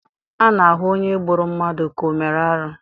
A na-ahụ onye gburu mmadụ ka onye mere arụ.